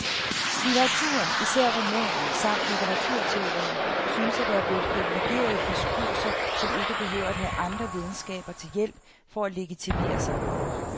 Litteraturen, især romanen, samt litteraturteorien synes at være blevet privilegerede diskurser, som ikke behøver at have andre videnskaber til hjælp for at legitimere sig.